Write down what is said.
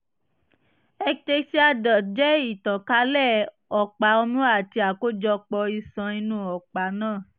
ectasia duct jẹ́ ìtànkálẹ̀ ọ̀pá ọmú àti àkójọpọ̀ ioṣan inú ọ̀pá náà